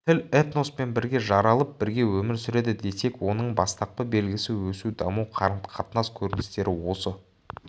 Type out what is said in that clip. тіл этноспен бірге жаралып бірге өмір сүреді десек оның бастапқы белгісі өсу даму қарым-қатынас көріністері осы